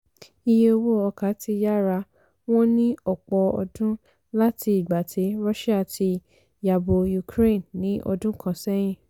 iye owó ọkà ti yára wọ́n ní ọ̀pọ̀ ọdún láti ìgbà tí russia ti yabo ukraine ní ọdún kan sẹ́yìn